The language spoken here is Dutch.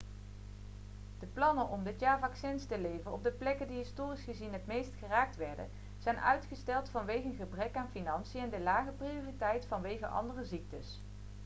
de plannen om dit jaar vaccins te leveren op de plekken die historisch gezien het meest geraakt werden zijn uitgesteld vanwege een gebrek aan financiën en de lage prioriteit vanwege andere ziektes